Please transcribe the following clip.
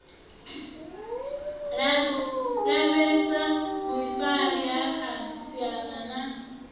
lavhelese vhuifari ha khasiama na